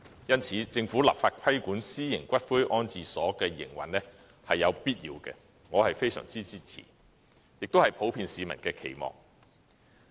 因此，政府立法規管私營龕場的營運是有必要的，我非常支持，這亦是普遍市民的期望。